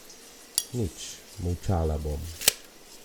Nič, molčala bom.